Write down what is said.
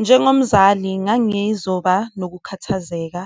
Njengomzali ngangizoba nokukhathazeka,